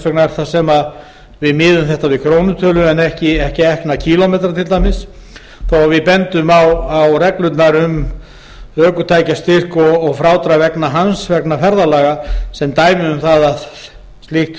vegna miðum við þetta við krónutölu en ekki ekna kílómetra til dæmis þó að við bendum á reglurnar um ökutækjastyrk og frádrátt vegna ferðalaga sem dæmi um það að slíkt